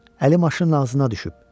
Əli maşının ağzına düşüb.